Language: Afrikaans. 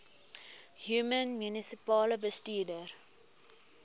human munisipale bestuurder